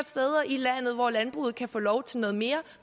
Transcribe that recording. steder i landet hvor landbruget kan få lov til noget mere